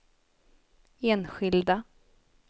enskilda